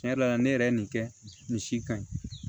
Tiɲɛ yɛrɛ la ne yɛrɛ ye nin kɛ nin si kaɲi